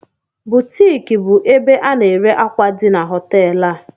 ‘Buutiique’ bụ ebe a na-ere akwa di n'hoteelu a